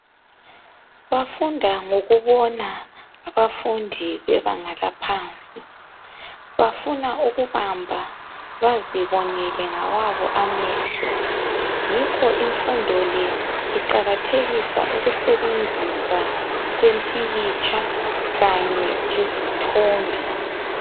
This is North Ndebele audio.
Bafunda ngokubona abafundi bebanga laphansi, bafuna ukubamba bazibonele ngawabo amehlo. Yikho imfundo le iqakathekisa ukusebenzisa kwempikitsha kanye lezithombe.